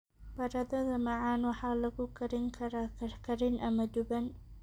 Baradhada macaan waxaa lagu karin karaa karkarin ama duban.